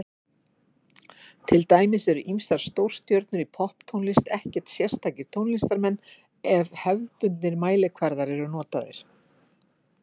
Til dæmis eru ýmsar stórstjörnur í popptónlist ekkert sérstakir tónlistarmenn ef hefðbundnir mælikvarðar eru notaðir.